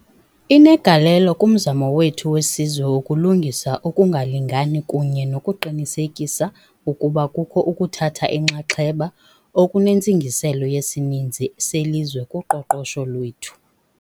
Inegalelo kumzamo wethu wesizwe wokulungisa ukungalingani kunye nokuqinisekisa ukuba kukho ukuthatha inxaxheba okunentsingiselo yesininzi selizwe kuqoqosho lwethu.